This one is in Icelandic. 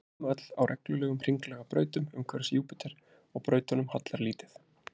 Þau sveima öll á reglulegum hringlaga brautum umhverfis Júpíter og brautunum hallar lítið.